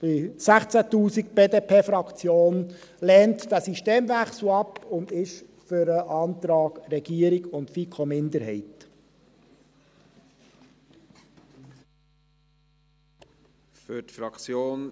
Die BDPFraktion lehnt diesen Systemwechsel ab und ist für den Antrag von Regierung und FiKo-Minderheit.